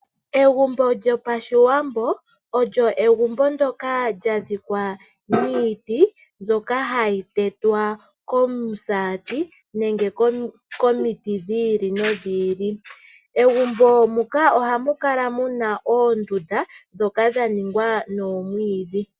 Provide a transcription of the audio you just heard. Egumbo lyo pashiwambo olyo egumbo ndoka lya dhikwa niiti mbyoka hayi tetwa komusati nenge komiti dhili no dhili. Megumbo muka ohamu kala muna oondundu dhoka dhaningwa noomwiidhi.